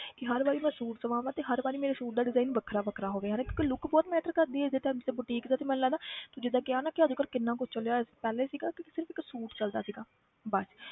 ਕਿ ਹਰ ਵਾਰੀ ਮੈਂ suit ਸਵਾਵਾਂ ਤੇ ਹਰ ਵਾਰੀ ਮੇਰੇ suit ਦਾ design ਵੱਖਰਾ ਵੱਖਰਾ ਹੋਵੇ ਹਨਾ ਕਿਉਂਕਿ look ਬਹੁਤ matter ਕਰਦੀ ਹੈ ਜਿੱਦਾਂ ਜਿੱਦਾਂ boutique ਦਾ ਤੇ ਮੈਨੂੰ ਲੱਗਦਾ ਤੂੰ ਜਿੱਦਾਂ ਕਿਹਾ ਨਾ ਕਿ ਅੱਜ ਕੱਲ੍ਹ ਕਿੰਨਾ ਕੁਛ ਚੱਲਿਆ ਹੋਇਆ ਪਹਿਲੇ ਸੀਗਾ ਕਿ ਸਿਰਫ਼ ਇੱਕ suit ਚੱਲਦਾ ਸੀਗਾ ਬਸ